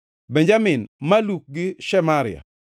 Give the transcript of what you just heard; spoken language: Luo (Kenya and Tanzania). Benjamin, Maluk gi Shemaria.